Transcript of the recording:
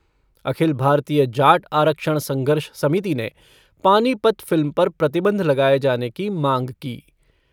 अखिल भारतीय जाट आरक्षण संघर्ष समिति ने पानीपत फ़िल्म पर प्रतिबंध लगाये जाने की माँग की।